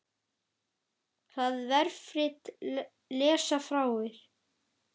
Það vefrit lesa fáir.